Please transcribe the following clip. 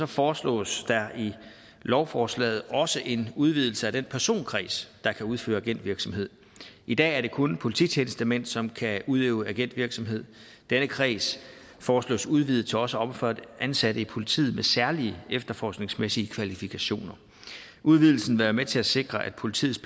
foreslås der i lovforslaget også en udvidelse af den personkreds der kan udføre agentvirksomhed i dag er det kun polititjenestemænd som kan udøve agentvirksomhed denne kreds foreslås udvidet til også at omfatte ansatte i politiet med særlige efterforskningsmæssige kvalifikationer udvidelsen vil være med til at sikre at politiets